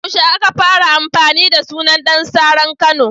Yaushe aka fara amfani da sunan Ɗan saran Kano?